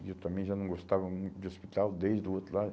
E eu também já não gostava muito de hospital, desde o outro lá.